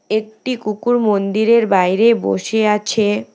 একটি কুকুর মন্দিরের বাইরে বসে আছে।